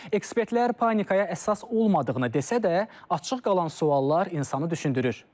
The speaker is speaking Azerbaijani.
Ekspertlər panikaya əsas olmadığını desə də, açıq qalan suallar insanı düşündürür.